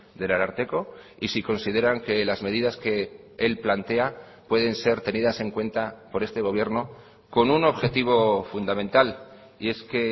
del ararteko y si consideran que las medidas que él plantea pueden ser tenidas en cuenta por este gobierno con un objetivo fundamental y es que